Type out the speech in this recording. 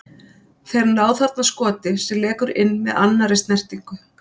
Þeir ná þarna skoti sem lekur inn með annari snertingu.